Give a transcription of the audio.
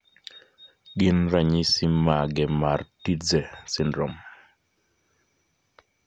Gin ranyisi mage mar Tietze syndrome?